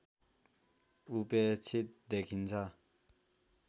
उपेक्षित देखिन्छ